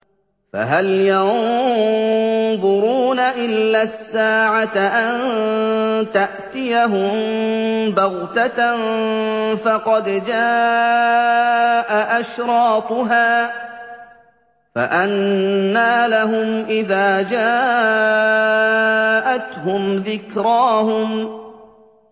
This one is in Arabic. فَهَلْ يَنظُرُونَ إِلَّا السَّاعَةَ أَن تَأْتِيَهُم بَغْتَةً ۖ فَقَدْ جَاءَ أَشْرَاطُهَا ۚ فَأَنَّىٰ لَهُمْ إِذَا جَاءَتْهُمْ ذِكْرَاهُمْ